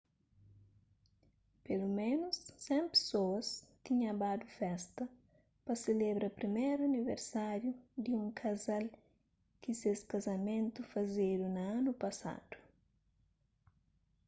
peloménus 100 pesoas tinha badu festa pa selebra priméru aniversáriu di un kazal ki ses kazamentu fazedu na anu pasadu